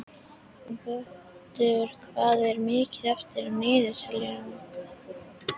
Vöttur, hvað er mikið eftir af niðurteljaranum?